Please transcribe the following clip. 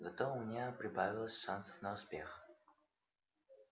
зато у меня прибавилось шансов на успех